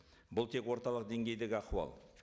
бұл тек орталық деңгейдегі ахуал